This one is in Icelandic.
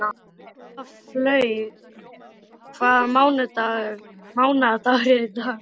Gæflaug, hvaða mánaðardagur er í dag?